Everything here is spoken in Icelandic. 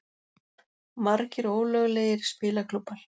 Margir ólöglegir spilaklúbbar